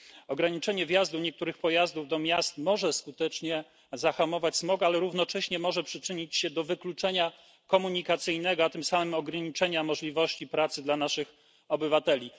Ograniczenie wjazdu niektórych pojazdów do miast może skutecznie zahamować smog, ale równocześnie może przyczynić się do wykluczenia komunikacyjnego, a tym samym ograniczenia możliwości pracy dla naszych obywateli.